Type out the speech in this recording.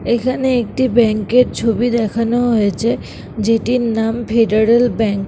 এখানে একটি ব্যাঙ্ক এর ছবি দেখানো হয়েছে যেটির নাম ফেডারেল ব্যাঙ্ক ।